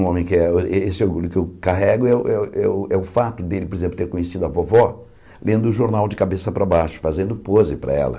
Um homem que era esse orgulho que eu carrego é o é o é o é o fato dele, por exemplo, ter conhecido a vovó lendo o jornal de cabeça para baixo, fazendo pose para ela.